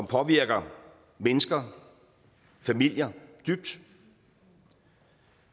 påvirker mennesker familier dybt